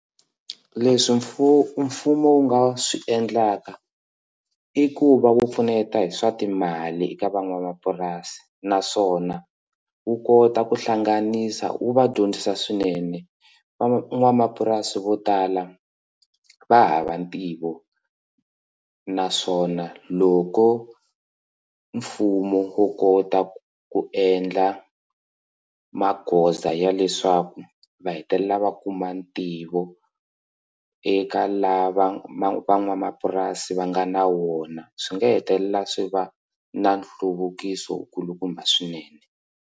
Leswi mfumo wu nga swi endlaka i ku va wu pfuneta hi swa timali eka van'wamapurasi naswona wu kota ku hlanganisa wu va dyondzisa swinene van'wamapurasi vo tala va hava ntivo naswona loko mfumo wo kota ku ku endla magoza ya leswaku va hetelela va kuma ntivo eka la van'wamapurasi va nga na wona swi nga hetelela swi va na nhluvukiso wu kulukumba swinene.